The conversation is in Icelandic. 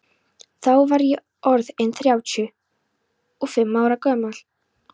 Þá var ég orð inn þrjátíu og fimm ára gamall.